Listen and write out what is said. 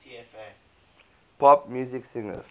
pop music singers